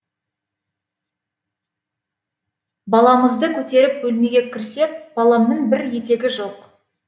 баламызды көтеріп бөлмеге кірсек баламның бір етегі жоқ